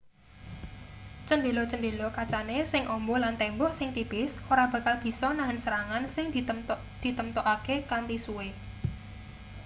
cendhela-chendela kacane sing amba lan tembok sing tipis ora bakal bisa nahen serangan sing ditemtokake kanthi suwe